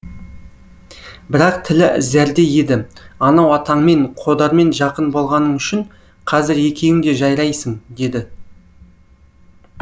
бірақ тілі зәрдей еді анау атаңмен қодармен жақын болғаның үшін қазір екеуің де жайрайсың деді